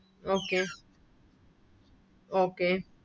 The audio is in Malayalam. Okay Okay